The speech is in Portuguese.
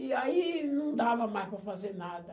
E aí não dava mais para fazer nada.